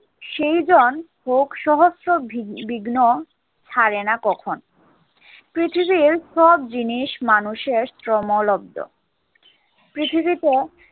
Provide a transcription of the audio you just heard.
সেইজন হোক সহস্র ভিগ~ বিঘ্ন, ছাড়ে না কখন। পৃথিবীর সব জিনিস মানুষের শ্রমলব্ধ। পৃথিবীতে